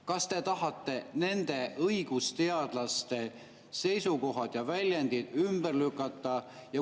Kas te tahate nende õigusteadlaste seisukohad ja väljendid ümber lükata?